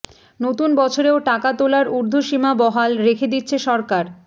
নতুন বছরেও টাকা তোলার ঊর্ধ্বসীমা বহাল রেখে দিচ্ছে সরকার